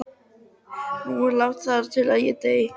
Nú er ekki langt þar til ég dey.